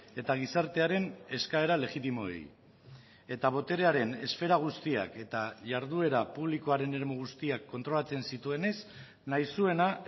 eta gizartearen eskaera legitimoei eta boterearen esfera guztiak eta jarduera publikoaren eremu guztiak kontrolatzen zituenez nahi zuena